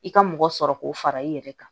I ka mɔgɔ sɔrɔ k'o fara i yɛrɛ kan